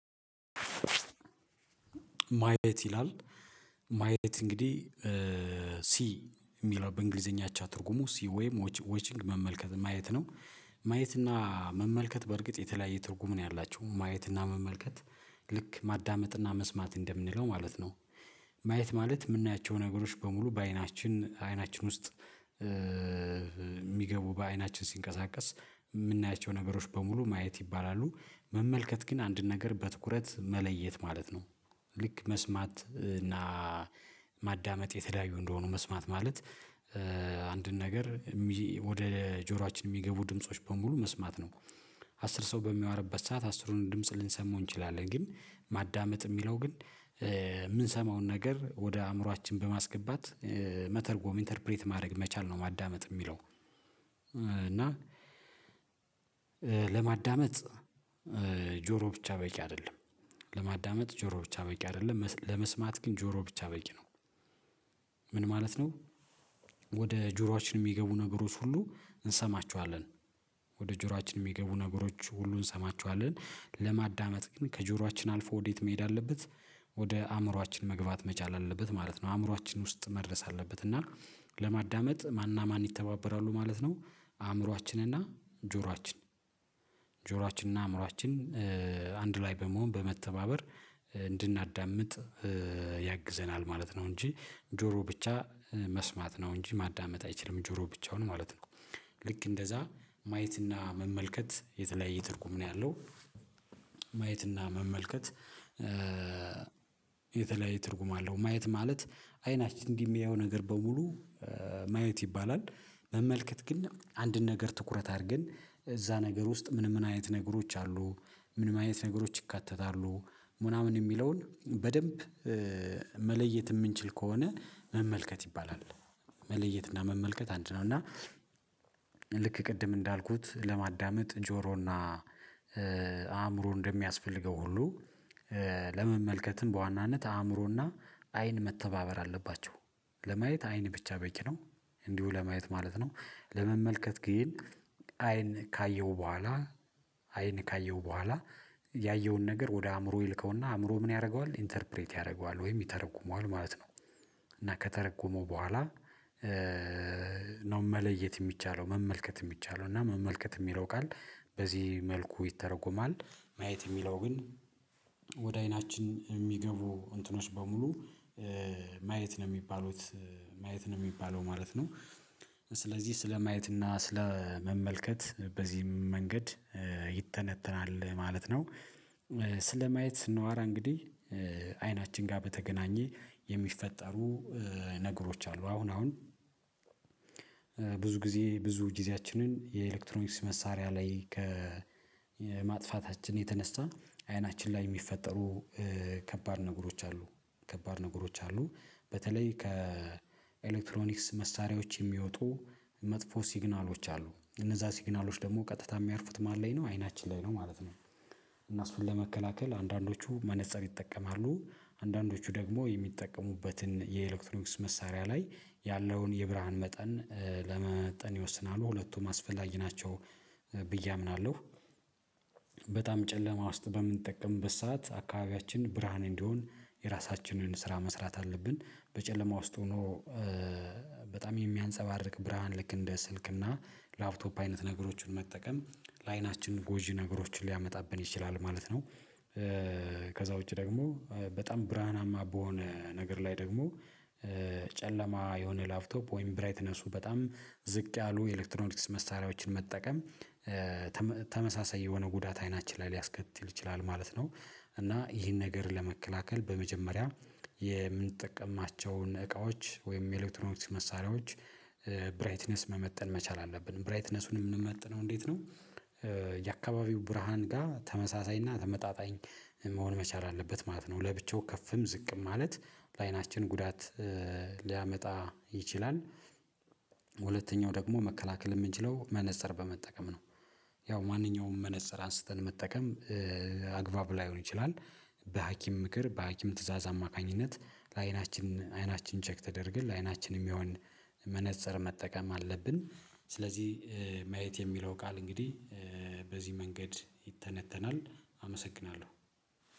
ማየት ይላል ማየት እንግዲህ ሲ የሚለው በእንግሊዘኛ አቻ ትርጉሙ ወይም ወችንግ መመልከት ማየት ነው። ማየት እና መመልከት በእርግጥ የተለያየ ትርጉም ነው ያላቸው ማየትና መመልከት ልክ ማዳመጥና መስማት እንደምንለው ማለት ነው። ማየት ማለት የምናያቸው ነገሮች በሙሉ በአይናችን አይናችን ውስጥ። የሚገቡ በአይናችን ሲንቀሳቀስ የምናያቸው ነገሮች በሙሉ ማየት ይባላሉ። መመልከት ግን አንድን ነገር በትኩረት መለየት ማለት ነው። ልክ መስማት እና ማዳመጥ የተለያዩ እንደሆኑ መስማት ማለት አንድን ነገር ወደ ጆሮአችን የሚገቡ ድምጾች በሙሉ መስማት ነው። አስር ሰው በሚያወራበት ሰዓት አስሩን ድምጽ ልንሰማው እንችላለን ግን ማዳመጥ የሚለው ግን የምንሰማውን ነገር ወደ አእምሮአችን በማስገባት መተርጎም ኢንተርፕሬት ማድረግ መቻል ነው። ማዳመጥ የሚለው እና ለማዳመጥ ጆሮ ብቻ በቂ አይደለም። ለማዳመጥ ጆሮ ብቻ በቂ አይደለም ለመስማት ግን ጆሮ ብቻ በቂ ነው። ምን ማለት ነው? ወደ ጆሮአችን የሚገቡ ነገሮች ሁሉ እንሰማቸዋለን። ወደ ጆሮአችን የሚገቡ ነገሮች ሁሉ እንሰማችኋለን ለማዳመጥ ግን ከጆሮአችን አልፎ ወዴት መሄድ አለበት? ወደ አእምሮአችን መግባት መቻል አለበት ማለት ነው። አእምሮአችን ውስጥ መድረስ አለበት። እና ለማዳመጥ ማንና ማን ይተባበራሉ ማለት ነው። አእምሮአችንና ጆሮአችን ጆሮአችንና አእምሮአችን አንድ ላይ በመሆን በመተባበር እንድናዳምጥ ያግዘናል ማለት ነው። እንጂ ጆሮ ብቻ መስማት ነው እንጂ ማዳመጥ አይችልም ጆሮ ብቻውን ማለት ነው። ልክ እንደዛ ማየትና መመልከት የተለያየ ትርጉም ነው ያለው። ማየትና መመልከት የተለያየ ትርጉም አለው። ማየት ማለት አይናችን እንዲህ የሚያየው ነገር በሙሉ ማየት ይባላል። መመልከት ግን አንድን ነገር ትኩረት አድርገን እዛ ነገር ውስጥ ምን ምን አይነት ነገሮች አሉ። ምን ምን አይነት ነገሮች ይካተታሉ። ምናምን የሚለውን በደንብ መለየት የምንችል ከሆነ መመልከት ይባላል። መለየት እና መመልከት አንድ ነው እና። ልክ ቅድም እንዳልኩት ለማዳመጥ ጆሮና አእምሮ እንደሚያስፈልገው ሁሉ ለመመልከትም በዋናነት አእምሮና አይን መተባበር አለባቸው። ለማየት አይን ብቻ በቂ ነው። እንዲሁ ለማየት ማለት ነው። ለመመልከት ግን አይን ካየው በኋላ አይን ካየው በኋላ ያየውን ነገር ወደ አእምሮ ይልከውና አእምሮ ምን ያደርገዋል ኢንተርፕሬት ያደርገዋል ወይም ይተረጉመዋል ማለት ነው። እና ከተረጎመው በኋላ መለየት የሚቻለው መመልከት የሚቻለው እና መመልከት የሚለው ቃል በዚህ መልኩ ይተረጎማል። ማየት የሚለው ግን ወደ አይናችን የሚገቡ እንትኖች በሙሉ ማየት ነው የሚባሉት ማየት ነው የሚባለው ማለት ነው። ስለዚህ ስለማየት እና ስለመመልከት በዚህም መንገድ ይተነተናል ማለት ነው። ስለማየት ስናወራ እንግዲህ አይናችን ጋር በተገናኘ የሚፈጠሩ ነገሮች አሉ አሁን አሁን ብዙ ጊዜ ብዙ ጊዜያችንን የኤሌክትሮኒክስ መሳሪያ ላይ ከማጥፋታችን የተነሳ አይናችን ላይ የሚፈጠሩ ከባድ ነገሮች አሉ። ከባድ ነገሮች አሉ በተለይ ከኤሌክትሮኒክስ መሳሪያዎች የሚወጡ መጥፎ ሲግናሎች አሉ እነዛ ሲግናሎች ደግሞ ቀጥታ የሚያርፉት ማን ላይ ነው አይናችን ላይ ነው ማለት ነው። እና እሱን ለመከላከል አንዳንዶቹ መነፀር ይጠቀማሉ አንዳንዶቹ ደግሞ የሚጠቀሙበትን የኤሌክትሮኒክስ መሳሪያ ላይ ያለውን የብርሃን መጠን ለመመጠን ይወስናሉ ሁለቱም አስፈላጊ ናቸው። ብዬ አምናለሁ። በጣም ጨለማ ውስጥ በምንጠቀምበት ሰዓት አካባቢያችን ብርሃን እንዲሆን የራሳችንን ስራ መስራት አለብን። በጨለማ ውስጥ ሆኖ በጣም የሚያንፀባርቅ ብርሃን ልክ እንደ ስልክ እና ላፕቶፕ አይነት ነገሮችን መጠቀም ለአይናችን ጎጂ ነገሮችን ሊያመጣብን ይችላል ማለት ነው። ከዛ ውጪ ደግሞ በጣም ብርሃናማ በሆነ ነገር ላይ ደግሞ ጨለማ የሆነ ላፍቶፕ ወይም ብራይትነሱ በጣም ዝቅ ያሉ ኤሌክትሮኒክስ መሳሪያዎችን መጠቀም ተመሳሳይ የሆነ ጉዳት አይናችን ላይ ሊያስከትል ይችላል ማለት ነው። እና ይህን ነገር ለመከላከል በመጀመሪያ የምንጠቀማቸውን እቃዎች ወይም የኤሌክትሮኒክስ መሳሪያዎች ብራይትነስ መመጠን መቻል አለብን ብራይትነሱን የምንመጥነው እንዴት ነው? የአካባቢው ብርሃን ጋር ተመሳሳይና ተመጣጣኝ መሆን መቻል አለበት ማለት ነው። ለብቻው ከፍም ዝቅም ማለት ለአይናችን ጉዳት ሊያመጣ ይችላል። ደግሞ መከላከል የምንችለው መነፀር በመጠቀም ነው። ያው ማንኛውም መነፅር አንስተን መጠቀም አግባብ ላይሆን ይችላል። በሀኪም ምክር በሀኪም ትእዛዝ አማካኝነት ለአይናችን አይናችን ቼክ ተደርገን ለአይናችን የሚሆን መነፀር መጠቀም አለብን። ስለዚህ ማየት የሚለው ቃል እንግዲህ በዚህ መንገድ ይተነተናል። አመሰግናለሁ።